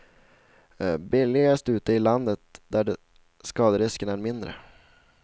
Billigast ute i landet där skaderisken är mindre.